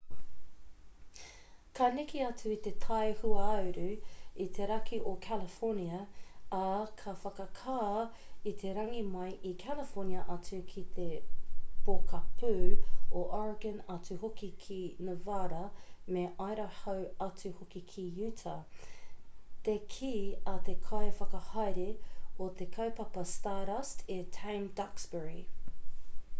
ka neke atu i te tai hauāuru i te raki o california ā ka whakakā i te rangi mai i california atu ki te pokapū o oregon atu hoki ki nevada me idaho atu hoki ki utah te kī a te kai whakahaere o te kaupapa stardust e tame duxbury